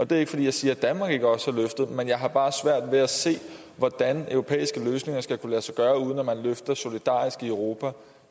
det er ikke fordi jeg siger at danmark ikke også har løftet men jeg har bare svært ved at se hvordan europæiske løsninger skal kunne lade sig gøre uden at man løfter solidarisk i europa